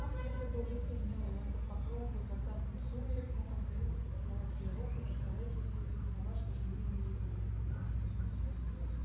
ах если бы уже стемнело и он под покровом благодатных сумерек мог осмелиться поцеловать её руку и сказать ей все те слова что жгли ему язык